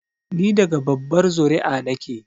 Ni daga babbar zuri'a na ke